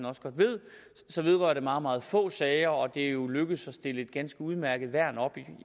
også godt ved så vedrører den meget meget få sager og det er jo lykkedes at stille et ganske udmærket værn op